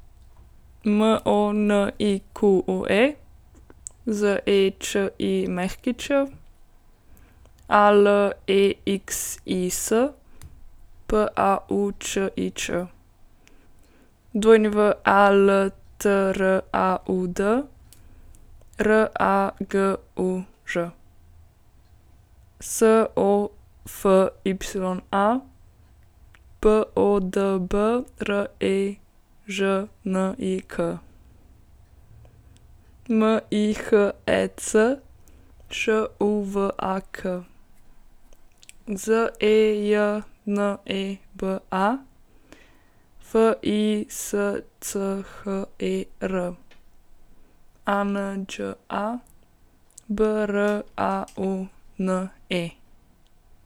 Monique Zečić, Alexis Paučič, Waltraud Raguž, Sofya Podbrežnik, Mihec Šuvak, Zejneba Fischer, Anđa Braune.